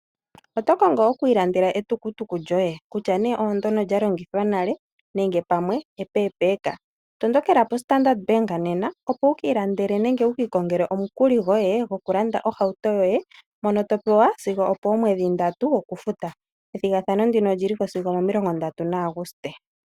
Oto kongo okwii landela etukutuku lyoye kutya nee oondyono lya longithwa nale nenge pamwe epepeeka? Tondokela poStandard bank nena opo wukii landele nenge wukii kongele omukuli goye goku landa ohauto yoye mono to pewa sigo oomweedhi ndatu okufuta. Ethigathano ndino oliliko sigo 30 yaAuguste.